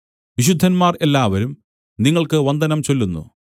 വിശുദ്ധന്മാർ എല്ലാവരും നിങ്ങൾക്ക് വന്ദനം ചൊല്ലുന്നു